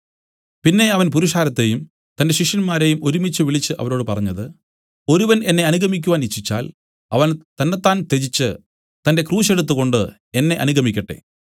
പിന്നെ അവൻ പുരുഷാരത്തെയും തന്റെ ശിഷ്യന്മാരെയും ഒരുമിച്ചുവിളിച്ച് അവരോട് പറഞ്ഞത് ഒരുവൻ എന്നെ അനുഗമിക്കുവാൻ ഇച്ഛിച്ചാൽ അവൻ തന്നെത്താൻ ത്യജിച്ച് തന്റെ ക്രൂശ് എടുത്തുകൊണ്ട് എന്നെ അനുഗമിക്കട്ടെ